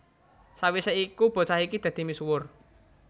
Sawisé iku bocah iki dadi misuwur